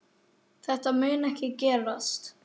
Þetta mun ekki gerast.